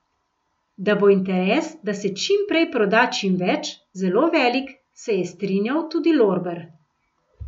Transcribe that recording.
Da bo interes, da se čim prej proda čim več, zelo velik, se je strinjal tudi Lorber.